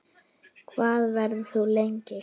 Hvað verður þú lengi?